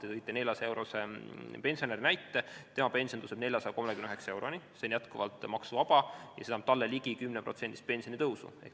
Te tõite selle 400-eurose pensioni näite, see tõuseb 439 euroni, see on jätkuvalt maksuvaba ja see annab ligi 10%-lise pensionitõusu.